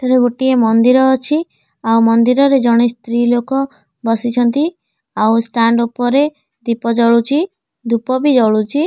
ଏଠି ଗୋଟିଏ ମନ୍ଦିର ଅଛି ଆ ମନ୍ଦିରରେ ଜଣେ ସ୍ତ୍ରୀ ଲୋକ ବସିଛନ୍ତି ଆଉ ଷ୍ଟାଣ୍ଡ ଉପରେ ଦୀପ ଜଳୁଚି ଆଉ ଧୂପ ବି ଜଳୁଚି।